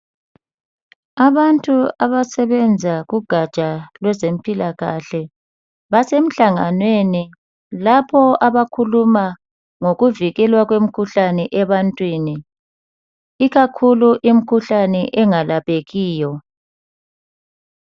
Abantu abasebenza kugatsha lwezempilakahle basemhlanganweni lapho abakhuluma ngokuvikelwa kwemkhuhlane ebantwini, ikakhulu imkhuhlane engalaphekiyo.